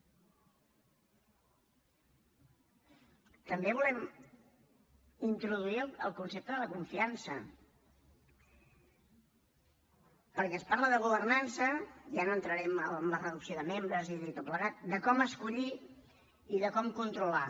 també volem introduir el concepte de la confiança perquè es parla de governança ja no entraré en la reducció de membres i tot plegat de com escollir i de com controlar